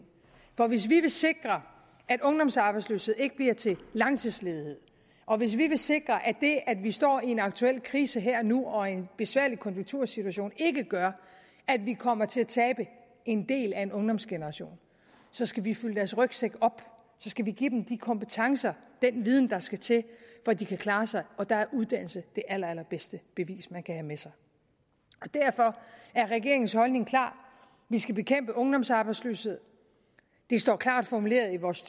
for hvis vi vil sikre at ungdomsarbejdsløshed ikke bliver til langtidsledighed og hvis vi vil sikre at det at vi står i en aktuel krise her og nu og en besværlig konjunktursituation ikke gør at vi kommer til at tabe en del af en ungdomsgeneration så skal vi fylde deres rygsække op så skal vi give dem de kompetencer den viden der skal til for at de kan klare sig og der er uddannelse det aller allerbedste bevis man kan have med sig derfor er regeringens holdning klar vi skal bekæmpe ungdomsarbejdsløshed det står klart formuleret i vores